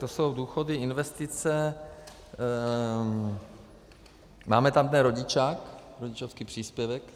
To jsou důchody, investice... máme tam ten rodičák - rodičovský příspěvek.